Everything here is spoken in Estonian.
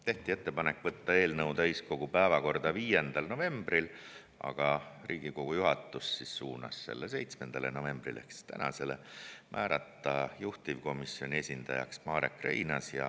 Tehti ettepanek võtta eelnõu täiskogu päevakorda 5. novembril, aga Riigikogu juhatus suunas selle päevakorda 7. novembriks ehk tänaseks, ja määrata juhtivkomisjoni esindajaks Marek Reinaas.